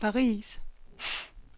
Paris